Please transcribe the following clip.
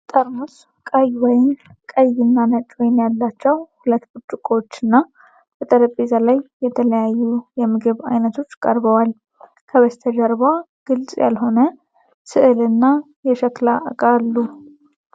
ጠርሙስ ቀይ ወይን፣ ቀይ እና ነጭ ወይን ያላቸው ሁለት ብርጭቆዎችና በጠረጴዛ ላይ የተለያዩ የምግብ አይነቶች ቀርበዋል። ከበስተጀርባ ግልጽ ያልሆነ ሥዕልና የሸክላ ዕቃ አሉ።